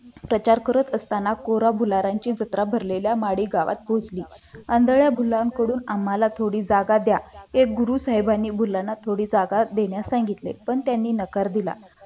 प्रचार करत असताना कोरा भुलारांची भरलेल्या माळी गावात पोहोचली आंधळ्या भुलांकडून आम्हाला थोडी जागा द्या हे गुरु साहेबांनी मुलांना थोडी जागा देण्यास सांगितले पण त्यांनी नकार दिला.